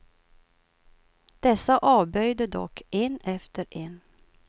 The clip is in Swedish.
Dessa avböjde dock, en efter en.